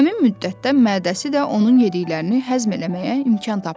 Həmin müddətdə mədəsi də onun yediklərini həzm eləməyə imkan tapırdı.